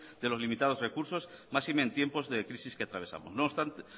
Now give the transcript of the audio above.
de los limitados recursos máxime en tiempos de crisis que atravesamos no obstante